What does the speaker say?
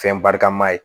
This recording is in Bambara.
Fɛn barika ma ye